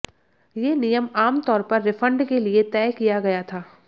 ये नियम आम तौर पर रिफंड के लिए तय किया गया था